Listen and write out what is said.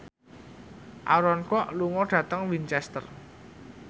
Aaron Kwok lunga dhateng Winchester